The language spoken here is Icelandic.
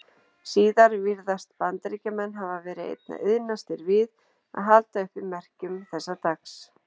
Síðar virðast Bandaríkjamenn hafa verið einna iðnastir við að halda uppi merkjum þessa dags.